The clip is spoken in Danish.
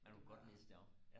men du kunne godt læse det op